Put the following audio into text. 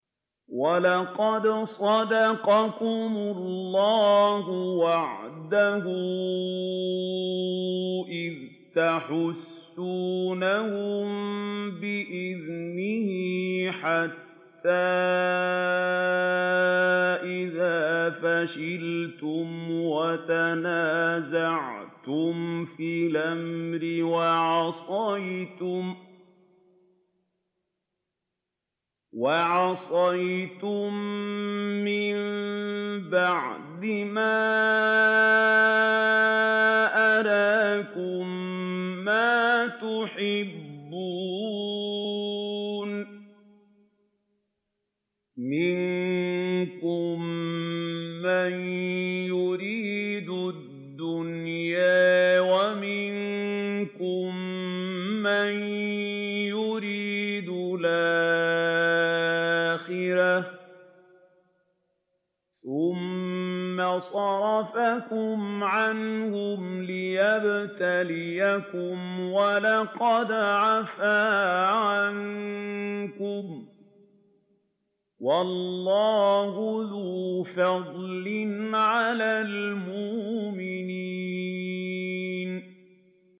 وَلَقَدْ صَدَقَكُمُ اللَّهُ وَعْدَهُ إِذْ تَحُسُّونَهُم بِإِذْنِهِ ۖ حَتَّىٰ إِذَا فَشِلْتُمْ وَتَنَازَعْتُمْ فِي الْأَمْرِ وَعَصَيْتُم مِّن بَعْدِ مَا أَرَاكُم مَّا تُحِبُّونَ ۚ مِنكُم مَّن يُرِيدُ الدُّنْيَا وَمِنكُم مَّن يُرِيدُ الْآخِرَةَ ۚ ثُمَّ صَرَفَكُمْ عَنْهُمْ لِيَبْتَلِيَكُمْ ۖ وَلَقَدْ عَفَا عَنكُمْ ۗ وَاللَّهُ ذُو فَضْلٍ عَلَى الْمُؤْمِنِينَ